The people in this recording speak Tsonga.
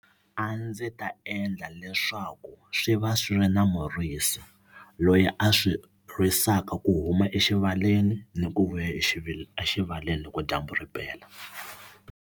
A ndzi ta endla leswaku swi va swi ri na murisi loyi a swi risaka ku huma exivaleni ni ku vuya exivaleni loko dyambu ri pela.